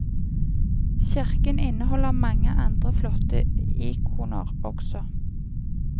Kirken inneholder mange andre flotte ikoner også.